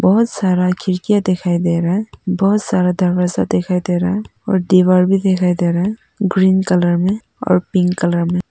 बहोत सारा खिड़कियां दिखाई दे रहा बहोत सारा दरवाजा दिखाई दे रहा हैं और दीवार भी दिखाई दे रहा ग्रीन कलर में और पिंक कलर में।